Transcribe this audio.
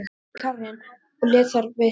Nei, sagði Karen og lét þar við sitja.